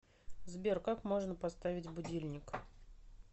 сбер как можно поставить будильник